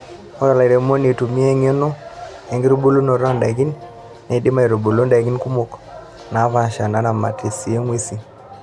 Ore olairemon oitumia eng'eno enkitubulunoto ondaikin neidim aitubulu ndaikin kumok naapasha neramat sii ng'wesin.